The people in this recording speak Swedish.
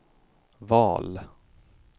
val